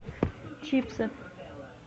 чипсы